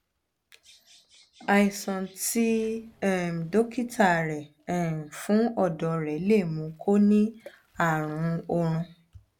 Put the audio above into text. àìsàn tí um dókítà rẹ um fún ọdọ rẹ lè mú kó o ní àrùn um ọrùn